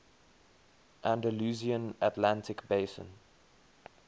andalusian atlantic basin